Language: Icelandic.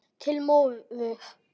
Til móður.